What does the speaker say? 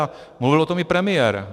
A mluvil o tom i premiér.